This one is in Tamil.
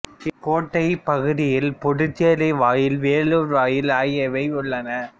இக்கோட்டைப் பகுதியில் புதுச்சேரி வாயில் வேலூர் வாயில் ஆகியவை உள்ளன